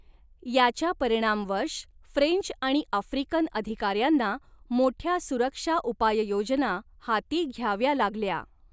याच्या परिणामवश, फ्रेंच आणि आफ्रिकन अधिकार्यांना मोठ्या सुरक्षा उपाययोजना हाती घ्याव्या लागल्या.